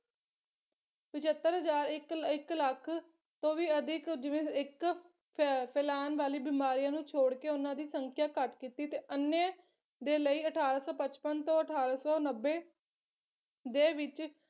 ਪਚੱਤਰ ਹਜ਼ਾਰ ਇੱਕ ਇੱਕ ਲੱਖ ਤੋਂ ਵੀ ਅਧਿਕ ਜਿਵੇਂ ਇੱਕ ਫੈ ਫੈਲਾਣ ਵਾਲੀ ਬਿਮਾਰੀਆਂ ਨੂੰ ਛੋੜਕੇ ਉਹਨਾਂ ਦੀ ਸੰਖਿਆ ਘੱਟ ਕੀਤੀ ਤੇ ਅੰਨ੍ਹੇ ਦੇ ਲਈ ਅਠਾਰਾਂ ਸੌ ਪਚਪਨ ਤੋਂ ਅਠਾਰਾਂ ਸੌ ਨੱਬੇ ਦੇ ਵਿੱਚ